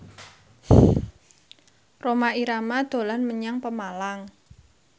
Rhoma Irama dolan menyang Pemalang